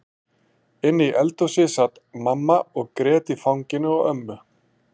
Inni í eldhúsi sat mamma og grét í fanginu á ömmu.